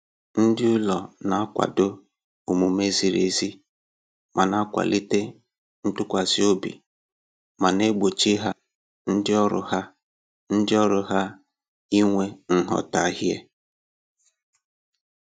Ndị ụlọ na-akwado omume ziri ezi na-akwalite ntụkwasị obi ma na-egbochi ha ndị ọrụ ha ndị ọrụ ha inwe nghọtahie